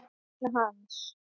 Við munum sakna hans.